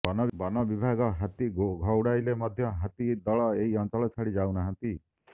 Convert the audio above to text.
ବନବିଭାଗ ହାତୀ ଘଉଡାଇଲେ ମଧ୍ୟ ହାତୀ ଦଳ ଏହି ଅଂଚଳ ଛାଡି ଯାଉ ନାହାନ୍ତି